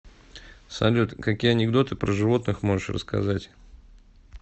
салют какие анекдоты про животных можешь рассказать